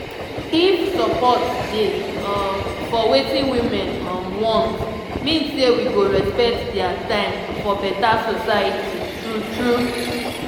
if support dey um for wetin women um want mean say we go respect dia time for beta soceity true true